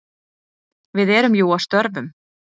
Við erum jú að störfum.